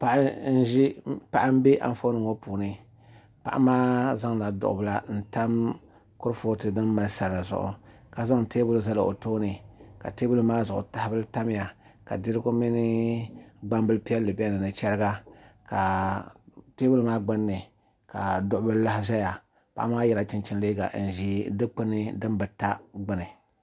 Paɣa n bɛ Anfooni ŋo puuni paɣa maa zaŋla duɣu bila n tam kurifooti din mali sala zuɣu ka zaŋ teebuli zali o tooni ka teebuli maa zuɣu tahabili tamya ka dirigu mini gbambili piɛlli bɛ dinni ni chɛriga ka teebuli maa gbuni ka duɣubili lahi ʒɛya paɣa maa yɛla chinchini liiga n ʒi Dikpuni din bi ta gbuni